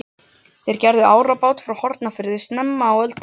Þeir gerðu út árabát frá Hornafirði snemma á öldinni.